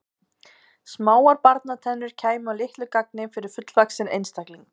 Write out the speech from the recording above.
Smáar barnatennur kæmu að litlu gagni fyrir fullvaxinn einstakling.